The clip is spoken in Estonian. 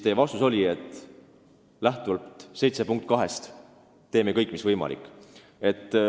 Teie vastus oli, et lähtuvalt Euroopa lepingu 7. artikli punktist 2 me teeme kõik, mis võimalik.